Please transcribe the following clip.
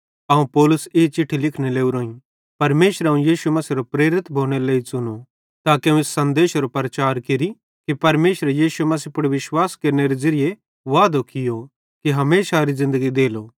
अवं पौलुस ई चिट्ठी लिखने लोरोईं परमेशरे अवं यीशु मसीहेरो प्रेरित भोनेरे लेइ च़ुनो ताके अवं इस सन्देशेरो प्रचार केरि कि परमेशरे यीशु मसीह पुड़ विश्वास केरनेरे ज़िरिये वादो कियो कि हमेशारी ज़िन्दगी देलो